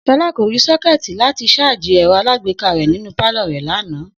S̩o̩lá kò rí só̩ké̩è̩tì láti s̩áàjì è̩ro̩ alágbéká rè̩ nínú pálò̩ rè̩ lánàá